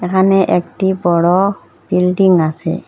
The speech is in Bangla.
এখানে একটি বড় বিল্ডিং আছে।